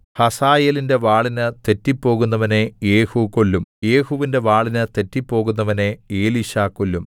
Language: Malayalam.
ഹസായേലിന്റെ വാളിന് തെറ്റിപ്പോകുന്നവനെ യേഹൂ കൊല്ലും യേഹൂവിന്റെ വാളിന് തെറ്റിപ്പോകുന്നവനെ എലീശാ കൊല്ലും